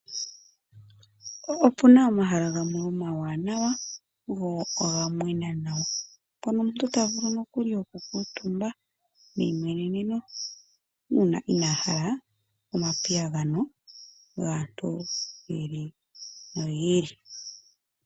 Opu na omahala gamwe omawanawa go oga mwena nawa. Mpono omuntu ta vulu nokuli oku kuutumba neyimweneneno uuna inaa hala omapiyagano gaantu yi ili noyi ili.